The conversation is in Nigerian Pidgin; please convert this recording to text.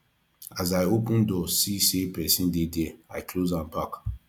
as i open door see sey pesin dey there i close am back